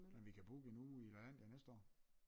Men vi kan booke en uge i Lalandia næste år